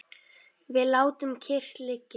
Við látum kyrrt liggja